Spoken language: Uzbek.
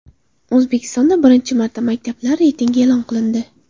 O‘zbekistonda birinchi marta maktablar reytingi e’lon qilindi.